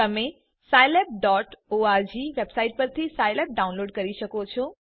તમે scilabઓર્ગ વેબસાઈટ પરથી સાઈલેબ ડાઉનલોડ કરી શકો છો